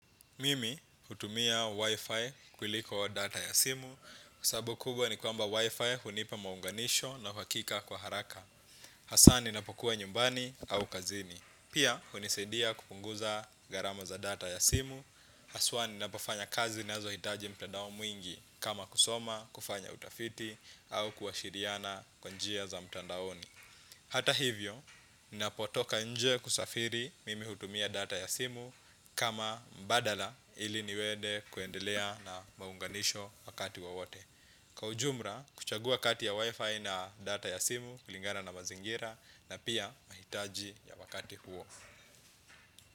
Mimi hutumia wifi kuliko data ya simu. Sabu kubwa ni kwamba wifi hunipa maunganisho na uhakika kwa haraka. Hasaa ninapokuwa nyumbani au kazini. Pia hunisadia kupunguza gharama za data ya simu. Haswa ninapofanya kazi nazohitaji mtandao mwingi kama kusoma, kufanya utafiti au kuashiriana kwa njia za mtandaoni. Hata hivyo, napotoka nje kusafiri mimi hutumia data ya simu kama mbadala ili niwede kuendelea na maunganisho wakati wowote. Kwa ujumra, kuchagua kati ya wifi na data ya simu kulingana na mazingira na pia mahitaji ya wakati huo.